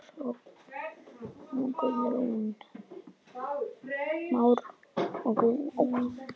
Már og Guðrún.